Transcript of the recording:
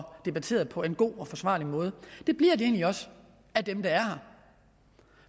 debatteret på en god og forsvarlig måde det bliver de egentlig også af dem der er her